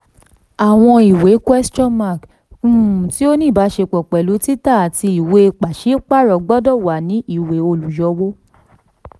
àwọn ìwé um tí ó ní ìbáṣepọ̀ pẹ̀lú títà àti ìwé pàṣípààrọ̀ gbọdọ̀ wà ní ìwé olùyọwó.